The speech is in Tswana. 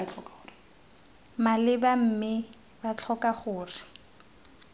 maleba mme b tlhoka gore